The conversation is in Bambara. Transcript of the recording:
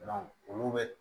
olu bɛ